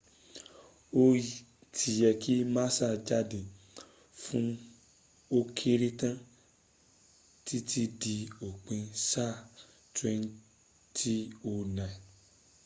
ó ti yẹ kí massa jáde fún ókéré tán títí di òpin sáà 2009